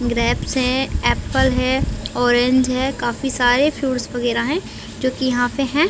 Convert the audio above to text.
Grapes है apple है orange है काफी सारे फ्रूट्स वगैरह है जोकि यहाँ पे हैं।